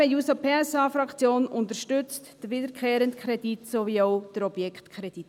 Die SP-JUSO-PSA-Fraktion unterstützt den wiederkehrenden Kredit sowie auch den Objektkredit.